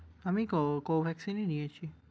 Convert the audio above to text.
আমি co~ Covaxin ই নিয়েছি।